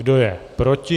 Kdo je proti?